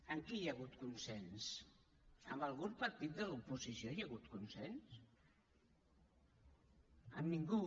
amb qui hi ha hagut consens amb algun partit de l’oposició hi ha hagut consens amb ningú